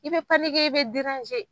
I bɛ i bɛ